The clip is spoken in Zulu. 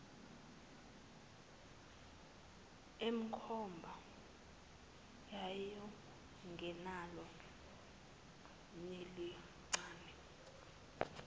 emkhomba wayengenalo nelincane